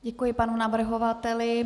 Děkuji panu navrhovateli.